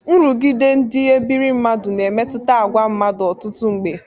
Nrụgide ndị ebire mmadụ na-emetụta agwa mmadụ ọtụtụ mgbe.